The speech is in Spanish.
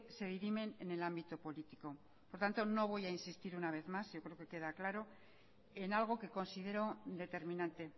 se dirimen en el ámbito político por tanto no voy a insistir una vez más yo creo que queda claro en algo que considero determinante